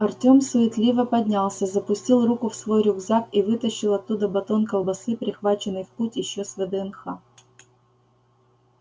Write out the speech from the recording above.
артём суетливо поднялся запустил руку в свой рюкзак и вытащил оттуда батон колбасы прихваченный в путь ещё с вднх